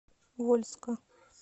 вольска